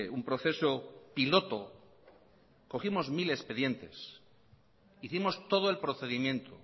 un proceso piloto cogimos mil expediente hicimos todo el procedimiento